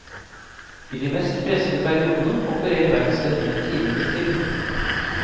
I de mest pressede periodene opererer verkstedet med timebestilling.